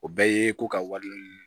O bɛɛ ye ko ka wari